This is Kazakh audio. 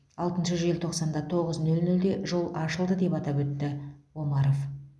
алтыншы желтоқсанда тоғыз нөл нөлде жол ашылды деп атап өтті омаров